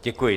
Děkuji.